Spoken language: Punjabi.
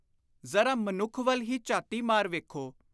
ਜ਼ਰਾ ਮਨੁੱਖ ਵੱਲ ਹੀ ਝਾਤੀ ਮਾਰ ਵੇਖੋ।